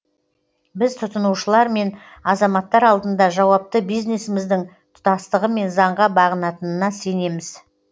біз тұтынушылар мен азаматтар алдында жауапты бизнесіміздің тұтастығы мен заңға бағынатынына сенеміз